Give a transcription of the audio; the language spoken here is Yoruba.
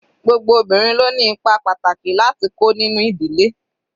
Gbogbo obìnrin ló ni ipa pàtàkì láti kó nínú ìdílé.